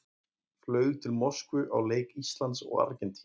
Flug til Moskvu á leik Íslands og Argentínu.